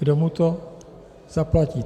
Kdo mu to zaplatí?